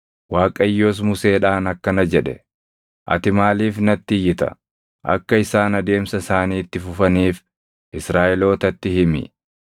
Waaqayyos Museedhaan akkana jedhe; “Ati maaliif natti iyyita? Akka isaan adeemsa isaanii itti fufaniif Israaʼelootatti himi.